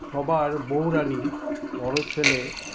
সবার বউরানী বড় ছেলে